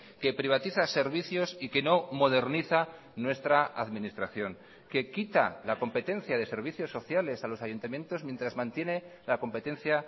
que privatiza servicios y que no moderniza nuestra administración que quita la competencia de servicios sociales a los ayuntamientos mientras mantiene la competencia